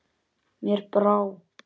Mér brá.